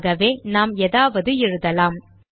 ஆகவே நாம் ஏதாவது எழுதலாம்